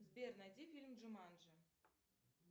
сбер найди фильм джуманджи